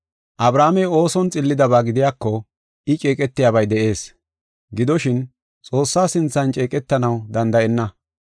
Abrahaamey ooson xillidaba gidiyako, I ceeqetiyabay de7ees, gidoshin, Xoossaa sinthan ceeqetanaw danda7enna.